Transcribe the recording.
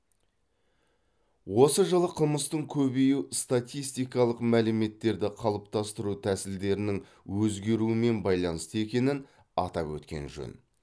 осы жылы қылмыстың көбеюі статистикалық мәліметтерді қалыптастыру тәсілдерінің өзгеруімен байланысты екенін атап өткен жөн